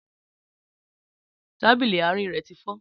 Tábìlì àárín rẹ ti fọ́